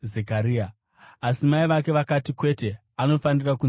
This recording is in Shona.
asi mai vake vakati, “Kwete! Anofanira kunzi Johani.”